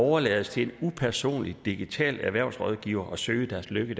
overlades til en upersonlig digital erhvervsrådgiver og søge deres lykke